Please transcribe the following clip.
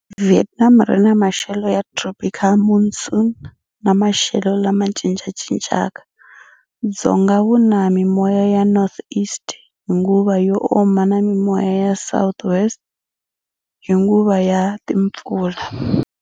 Vietnam ri ni maxelo ya tropical monsoon na maxelo lama cincacincaka. Dzonga wuna mimoya ya Northeast hi nguva yo oma na mimoya ya Southwest hi nguva ya timpfula.